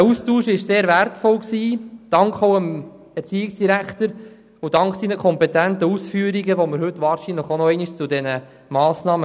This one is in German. Der Austausch war sehr wertvoll, auch dank der kompetenten Ausführungen des Erziehungsdirektors zu diesen Massnahmen.